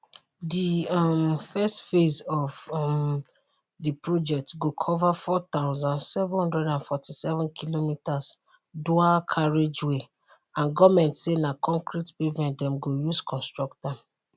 di um first phase of um di project go cover 4747 kilometers dual carriageway and goment say na concrete pavement dem go use construct am